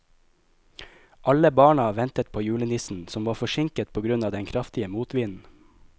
Alle barna ventet på julenissen, som var forsinket på grunn av den kraftige motvinden.